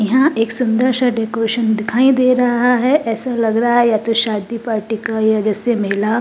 यहाँ एक सुदर सा डेकोरेशन दिखाई दे रहा है ऐसा लग रहा है या तो शादी पार्टी का यह जैसे मेला --